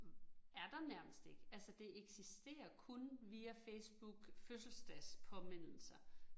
Hm er der nærmest ikke, altså det eksisterer kun via Facebook fødselsdagspåmindelser